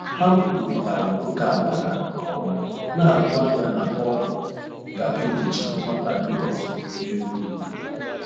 Ha kwurịtara ókèala ha nke ọma, na-atụ anya na ọ ga-egbochi nghọtahie ọzọ na-egbu mgbu.